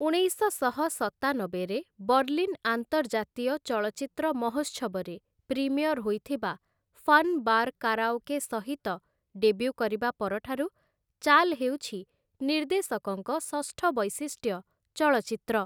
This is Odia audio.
ଉଣେଇଶଶହ ସତାନବେରେ ବର୍ଲିନ୍ ଆନ୍ତର୍ଜାତୀୟ ଚଳଚ୍ଚିତ୍ର ମହୋତ୍ସବରେ ପ୍ରିମିୟର ହୋଇଥିବା 'ଫନ୍ ବାର୍ କାରାଓକେ' ସହିତ ଡେବ୍ୟୁ କରିବା ପରଠାରୁ ଚାଲ୍ ହେଉଛି ନିର୍ଦ୍ଦେଶକଙ୍କ ଷଷ୍ଠ ବୈଶିଷ୍ଟ୍ୟ ଚଳଚ୍ଚିତ୍ର ।